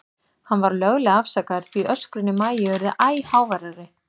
Hann var löglega afsakaður, því öskrin í Maju urðu æ háværari.